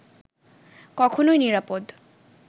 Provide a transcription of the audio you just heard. কখনোই নিরাপদ